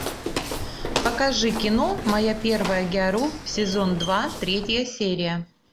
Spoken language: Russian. покажи кино моя первая гяру сезон два третья серия